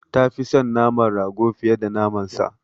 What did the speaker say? Ta fi son naman rago fiye da naman sa.